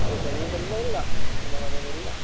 ಈ ಸರಿ ತುಂಬಾ ಇಲ್ಲ, ನಮ್ಮ ಮನೆಯಲ್ಲಿ ಇಲ್ಲ.